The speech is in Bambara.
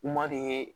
U ma deli